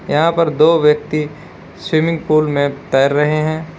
यहां पर दो व्यक्ति स्विमिंग पुल में तैर रहे हैं।